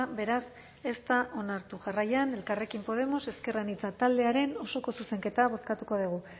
beraz ez da onartu jarraian elkarrekin podemos ezker anitza taldearen osoko zuzenketa bozkatuko dugu